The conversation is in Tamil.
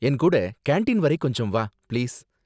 என் கூட கேண்டீன் வரை கொஞ்சம் வா, பிளீஸ்.